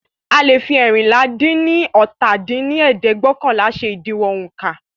A leè fi eérinlá-dín-ní-ọ́ta dín ní ẹ̀ẹ́dẹ́gbẹ́ọ̀kànlá ṣe ìdiwọ̀n ońká